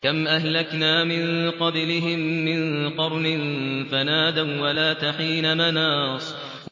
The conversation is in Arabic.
كَمْ أَهْلَكْنَا مِن قَبْلِهِم مِّن قَرْنٍ فَنَادَوا وَّلَاتَ حِينَ مَنَاصٍ